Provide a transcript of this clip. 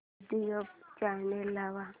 YouTube channel लाव